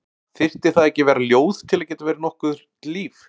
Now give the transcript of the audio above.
Þyrfti það ekki að vera ljóð til að geta verið nokkurt líf?